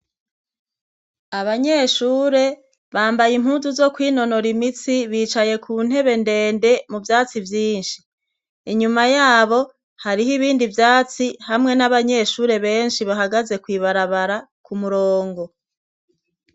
Abanyeshure bambaye impuzu zo kwinonora imitsi bicaye ku ntebe ndende mu byatsi vyinshi inyuma yabo hariho ibindi vyatsi hamwe n'abanyeshure benshi bahagaze kwibarabara ku murongo.